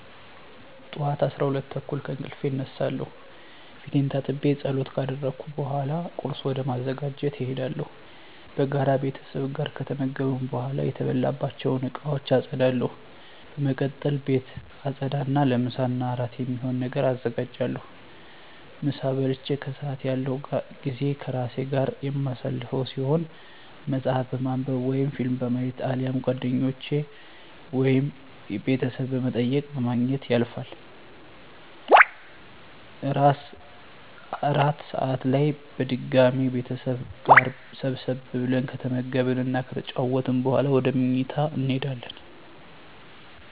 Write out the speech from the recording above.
ጠዋት 12:30 ከእንቅልፌ እነሳለሁ። ፊቴን ታጥቤ ፀሎት ካደረስኩ በኃላ ቁርስ ወደ ማዘጋጀት እሄዳለሁ። በጋራ ቤተሰብ ጋር ከተመገብን በኃላ የተበላባቸውን እቃወች አፀዳለሁ። በመቀጠል ቤት አፀዳ እና ለምሳ እና እራት የሚሆን ነገር አዘጋጃለሁ። ምሳ በልቼ ከሰአት ያለው ጊዜ ከራሴ ጋር የማሳልፈው ሲሆን መፀሀፍ በማንብ ወይም ፊልም በማየት አሊያም ጓደኞቼን ወይም ቤተሰብ በመጠየቅ በማግኘት ያልፋል። እራት ሰአት ላይ በድጋሚ ቤተሰብ ጋር ሰብሰብ ብለን ከተመገብን እና ከተጨዋወትን በኃላ ወደ ምኝታ እሄዳለሁ።